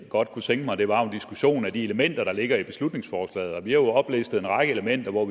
godt kunne tænke mig var en diskussion af de elementer der ligger i beslutningsforslaget vi har jo oplistet en række elementer hvor